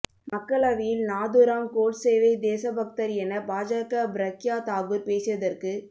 மக்களவையில் நாதுராம் கோட்சேவை தேசபக்தர் என பாஜக ப்ரக்யா தாகூர் பேசியதற்கு